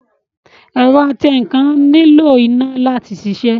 Ẹ̀rọ atẹǹkan nílò iná láti sisẹ́